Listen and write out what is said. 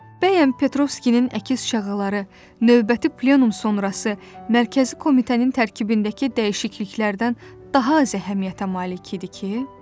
Bəyən Petrovskinin əkiz şaqqaları növbəti plenum sonrası mərkəzi komitənin tərkibindəki dəyişikliklərdən daha az əhəmiyyətə malik idi ki?